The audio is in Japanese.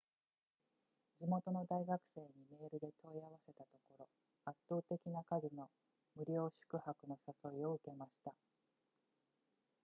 地元の大学生にメールで問い合わせたところ圧倒的な数の無料宿泊の誘いを受けました